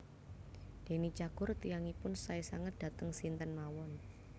Deny Cagur tiyangipun sae sanget dateng sinten mawon